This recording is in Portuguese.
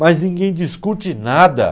Mas ninguém discute nada.